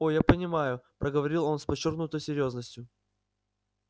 о я понимаю проговорил он с подчёркнутой серьёзностью